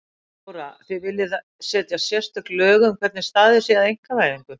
Þóra: Þið viljið setja sérstök lög um hvernig staðið sé að einkavæðingu?